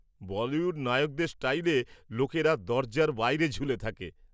বলিউড নায়কদের স্টাইলে লোকেরা দরজার বাইরে ঝুলে থাকে।